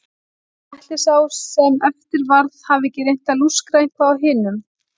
Ætli sá sem eftir varð hafi ekki reynt að lúskra eitthvað á hinum.